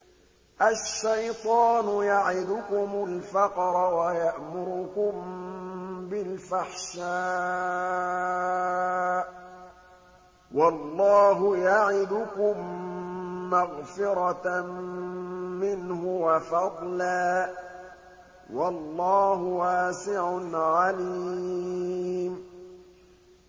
الشَّيْطَانُ يَعِدُكُمُ الْفَقْرَ وَيَأْمُرُكُم بِالْفَحْشَاءِ ۖ وَاللَّهُ يَعِدُكُم مَّغْفِرَةً مِّنْهُ وَفَضْلًا ۗ وَاللَّهُ وَاسِعٌ عَلِيمٌ